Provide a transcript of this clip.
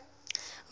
hoeveel aansoeke